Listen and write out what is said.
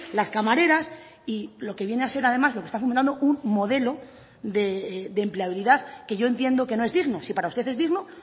las camareras y lo que viene a ser además lo que está formulando un modelo de empleabilidad que yo entiendo que no es digno si para usted es digno